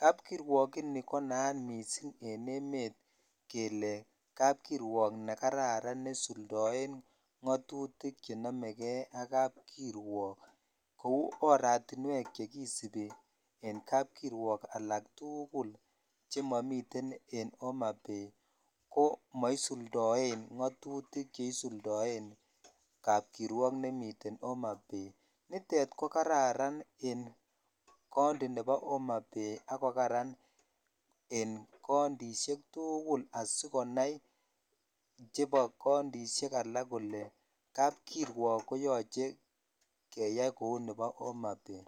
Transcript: Kapkirwok ini konayat missing en emet kele kapkirwok nekararan nesuldoen ng'atutik chenomegei ak kapkirwok ak oratunwek chekisubi en kapkirwok agetugul chemomiten en Homa Bay komosuldoen ng'atutik chesuldoen kapkirwok nemiten Homa Bay ,nitet kokararan kapkirwok nemiten Homa Bay akokaran en kountisiek tugul asikonai chebo kauntisiek alak kole kapkirwok koyoche keyai kou nebo Homa Bay.